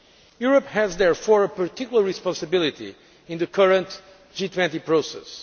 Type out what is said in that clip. Europe has, therefore, a particular responsibility in the current G20 process.